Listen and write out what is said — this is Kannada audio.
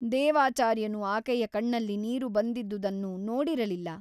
ದೇವಾಚಾರ್ಯನು ಆಕೆಯ ಕಣ್ಣಲ್ಲಿ ನೀರು ಬಂದಿದ್ದುದನ್ನು ನೋಡಿರಲಿಲ್ಲ.